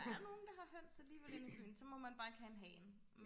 der er nogen der har høns alligevel inde i byen så må man bare ikke have en hane